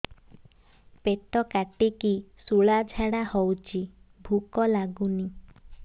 ପେଟ କାଟିକି ଶୂଳା ଝାଡ଼ା ହଉଚି ଭୁକ ଲାଗୁନି